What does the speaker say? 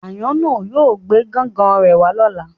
Ayano yóò gbe gan-gan re wa lọla